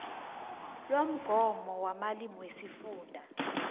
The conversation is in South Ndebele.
lomgomo wamalimi wesifunda